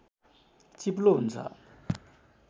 चिप्लो हुन्छ